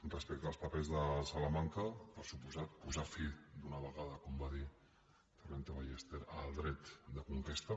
respecte als papers de salamanca per descomptat posar fi d’una vegada com va dir torrente ballester al dret de conquesta